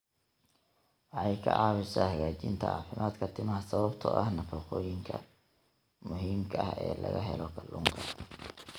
Waxay ka caawisaa hagaajinta caafimaadka timaha sababtoo ah nafaqooyinka muhiimka ah ee laga helo kalluunka.